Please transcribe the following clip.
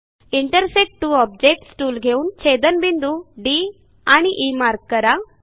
intersect two objects tool घेऊन छेदनबिंदू D and E mark करा